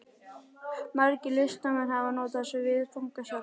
Margir listamenn hafa notað þetta viðfangsefni.